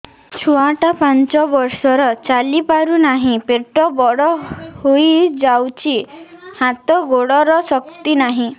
ଛୁଆଟା ପାଞ୍ଚ ବର୍ଷର ଚାଲି ପାରୁନାହଁ ପେଟ ବଡ ହୋଇ ଯାଉଛି ହାତ ଗୋଡ଼ର ଶକ୍ତି ନାହିଁ